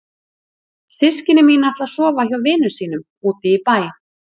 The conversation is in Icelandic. Systkini mín ætla að sofa hjá vinum sínum úti í bæ.